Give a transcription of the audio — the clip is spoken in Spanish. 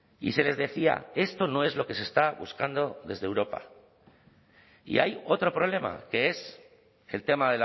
y se les decía esto no es lo que se está buscando desde europa y hay otro problema que es el tema